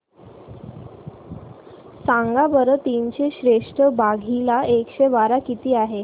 सांगा बरं तीनशे त्रेसष्ट भागीला एकशे बारा किती आहे